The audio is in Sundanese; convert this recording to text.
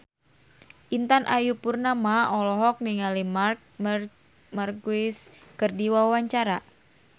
Intan Ayu Purnama olohok ningali Marc Marquez keur diwawancara